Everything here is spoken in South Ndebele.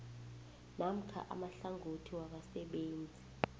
namkha amahlangothi wabasebenzi